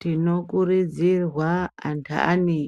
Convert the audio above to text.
Tinokurudzirwa anhanhi